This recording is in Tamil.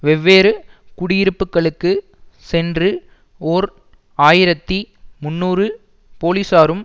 வெவ்வேறு குடியிருப்புக்களுக்கு சென்று ஓர் ஆயிரத்தி முன்னூறு போலீசாரும்